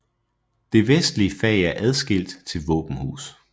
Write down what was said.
Det vestlige fag er afskilt til våbenhus